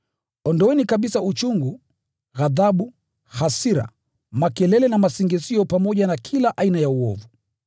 Ondoeni kabisa uchungu, ghadhabu, hasira, makelele na masingizio pamoja na kila aina ya uovu.